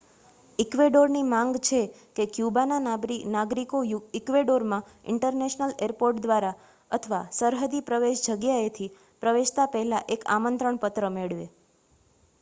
ઈક્વેડોરની માંગ છે કે ક્યુબાના નાગરિકો ઈક્વેડોરમાં ઇન્ટરનેશનલ એરપોર્ટ દ્વારા અથવા સરહદી પ્રવેશ જગ્યાએથી પ્રવેશતા પહેલા એક આમંત્રણ પત્ર મેળવે